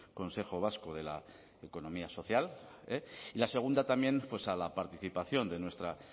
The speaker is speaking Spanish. consejo vasco de la economía social y la segunda también a la participación de nuestra